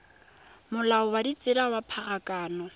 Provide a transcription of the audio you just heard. molao wa ditsela wa pharakano